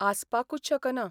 आसपाकूच शकना.